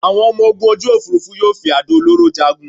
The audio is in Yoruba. Àwọn ọmọ-ogun òfúrufú yóò fi àdó olóró jagun